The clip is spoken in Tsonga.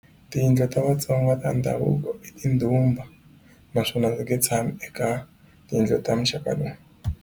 Tiyindlu ta vatsonga ta ndhavuko i tindhumba naswona i nge tshami eka tiyindlu ta muxaka lowu.